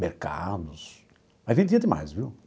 Mercados... Aí vendia demais, viu?